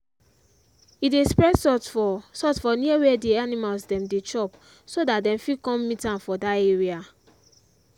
he dey spread salt for salt for near where the animals dem dey chop so dat dem fit con meet am for dat area.